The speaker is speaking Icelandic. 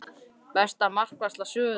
Besta markvarsla sögunnar?